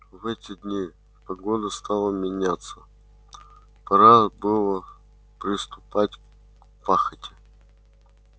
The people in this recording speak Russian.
в эти дни погода стала меняться пора было приступать к пахоте